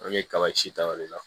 An bɛ kaba ci ta o de la